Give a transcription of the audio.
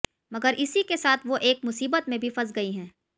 मगर इसी के साथ वो एक मुसीबत में भी फंस गई हैं